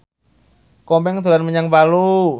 Komeng dolan menyang Palu